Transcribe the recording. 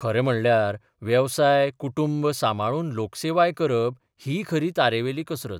खरें म्हणल्यार वेवसाय कुटुंब सांबाळून लोकसेवाय करप ही खरी तारेवेली कसरत.